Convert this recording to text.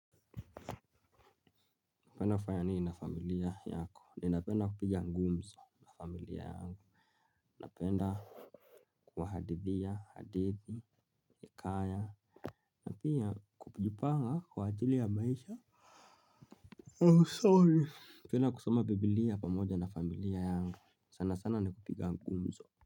Unapenda kufanya nini na familia yako, ninapenda kupiga ngumzo na familia yangu, napenda kuwahadithia, hadithi, hekaya, na pia kupujipanga kwa ajili ya maisha. Oh sorry. Napend kusoma bibilia pamoja na familia yangu, sana sana ni kupiga ngumzo.